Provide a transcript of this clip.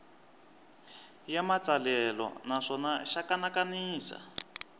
ya matsalelo naswona xa kanakanisa